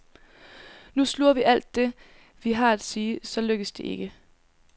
Nu sluger vi alt det, vi har at sige, så lykkes det ikke.